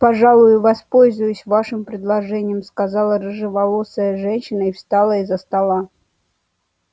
пожалуй воспользуюсь вашим предложением сказала рыжеволосая женщина и встала из-за стола